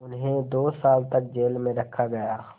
उन्हें दो साल तक जेल में रखा गया